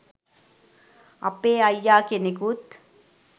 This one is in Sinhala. අපේ අයියා කෙනෙකුත්